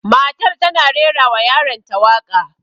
Matar tana rera wa yaron ta waƙa